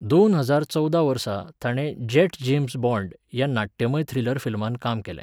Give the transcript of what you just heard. दोन हजार चवदा वर्सा ताणें 'जॅट जेम्स बॉण्ड' ह्या नाट्यमय थ्रिलर फिल्मांत काम केलें.